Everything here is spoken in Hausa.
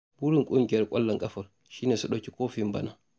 Burin ƙungiyar ƙwallon ƙafar shi ne su ɗauki kofin bana.